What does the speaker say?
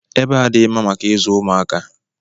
Ebe a adịghị mma maka ịzụ ụmụaka.